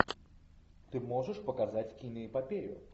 ты можешь показать киноэпопею